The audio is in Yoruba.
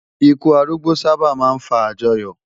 Ìkú árúgbó sábá má n fá ájòyò